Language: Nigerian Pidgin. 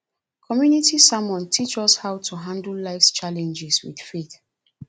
community sermon teach us how to handle lifes challenges with faith